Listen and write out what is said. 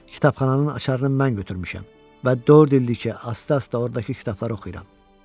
Kitabxananın açarını mən götürmüşəm və dörd ildir ki, asta-asta ordakı kitabları oxuyuram.